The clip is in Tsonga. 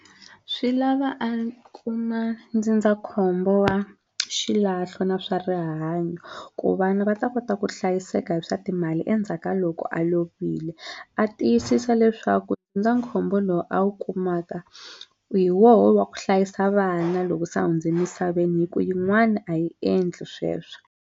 Swi lava a kuma ndzindzakhombo wa xilahlo na swa rihanyo ku vana va ta kota ku hlayiseka hi swa timali endzhaka loko a lovile a tiyisisa leswaku ndzindzakhombo lowu a wu kumaka hi woho wa ku hlayisa vana loko se a hundzini misaveni hi ku yin'wana a yi endli sweswo.